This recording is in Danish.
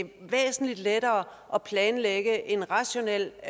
væsentligt lettere at planlægge en rationel